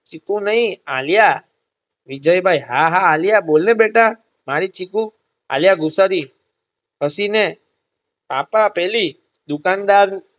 ચીકુ નય આલ્યા વિજયભાઈ હા હા આલ્યા બોલને બેટા મારી ચીકુ આલ્યા ગુસ્સાથી ફષીને પાપ્પા પેલી દુકાનદાર